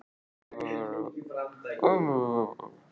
Kannski ekki Var þetta verðskuldaður sigur?